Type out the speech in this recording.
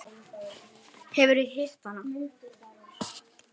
Hefurðu hitt hana?